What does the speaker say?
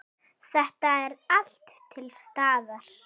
Þetta er allt til staðar!